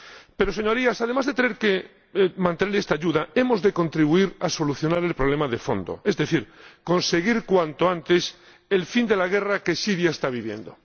Pero, Señorías, además de mantener esta ayuda, hemos de contribuir a solucionar el problema de fondo, es decir, conseguir cuanto antes el fin de la guerra que Siria está viviendo